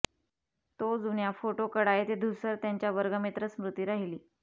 तो जुन्या फोटो कडा येथे धूसर त्यांच्या वर्गमित्र स्मृती राहिली